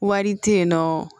Wari tɛ yen nɔ